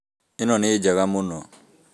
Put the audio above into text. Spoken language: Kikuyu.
Ĩno nĩ njega mũno